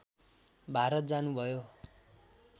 भारत जानुभयो